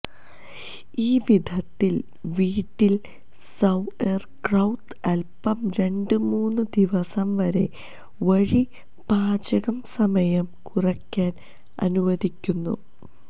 ഈ വിധത്തിൽ വീട്ടിൽ സൌഎര്ക്രൌത് അല്പം രണ്ട് മൂന്ന് ദിവസം വരെ വഴി പാചകം സമയം കുറയ്ക്കാൻ അനുവദിക്കുന്നു